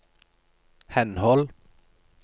henhold